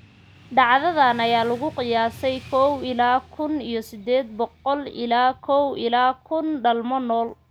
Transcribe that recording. Dhacdadan ayaa lagu qiyaasay kow ila kuun iyo sided boqol ilaa kow ila kun dhalmo nool.